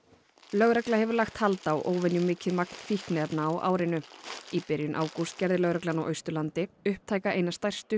lögregla hefur lagt hald á óvenjumikið magn fíkniefna á árinu í byrjun ágúst gerði lögreglan á Austurlandi upptæka eina stærstu